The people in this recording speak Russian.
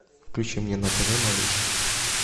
включи мне на тв малыш